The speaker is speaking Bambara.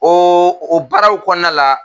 Ɔ o baaraw kɔnɔna la